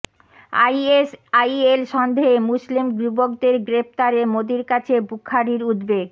ISIL সন্দেহে মুসলিম যুবকদের গ্রেফতারে মেদির কাছে বুখারীর উদ্বেগ